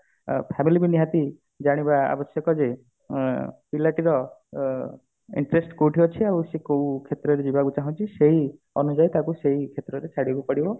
ଆ family କୁ ନିହାତି ଜାଣିବା ଆବଶ୍ୟକ ଯେ ଅ ପିଲାଟିର ଅ interest କୋଉଠି ଅଛି ଆଉ ସେ କୋଉ କ୍ଷେତ୍ରରେ ଯିବାକୁ ଚାହୁଁଛି ସେଇ ଅନୁଯାଇ ତାକୁ ସେଇ କ୍ଷେତ୍ରରେ ଛାଡି ବାକୁ ପଡିବ